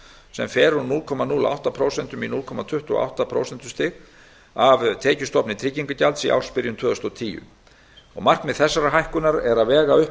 sem fer úr prósentustig af tekjustofni tryggingagjalds í ársbyrjun tvö þúsund og tólf markmið þessarar hækkunar er að vega upp